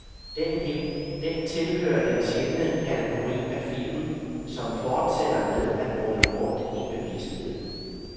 Den tilhører den sjældne kategori af film, som fortsætter med at rumle rundt i bevidstheden.